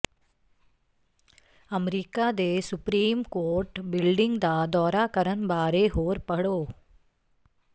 America ਦੇ supreme court building ਦਾ ਦੌਰਾ ਕਰਨ ਬਾਰੇ ਹੋਰ ਪੜ੍ਹੋ